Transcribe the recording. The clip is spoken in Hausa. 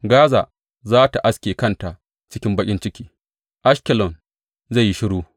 Gaza za tă aske kanta cikin baƙin ciki; Ashkelon zai yi shiru.